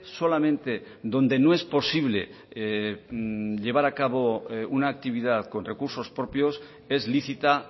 solamente donde no es posible llevar a cabo una actividad con recursos propios es lícita